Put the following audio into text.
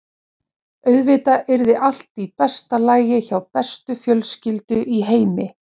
Auðvitað yrði allt í besta lagi hjá bestu fjölskyldu í heimi.